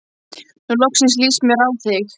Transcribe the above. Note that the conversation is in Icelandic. Nú loksins líst mér á þig.